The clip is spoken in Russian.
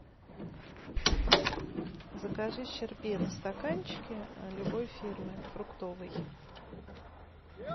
закажи щербет в стаканчике любой фирмы фруктовый